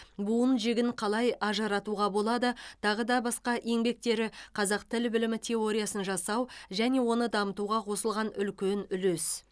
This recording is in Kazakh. буын жігін қалай ажыратуға болады тағы да басқа еңбектері қазақ тіл білімі теориясын жасау және оны дамытуға қосылған үлкен үлес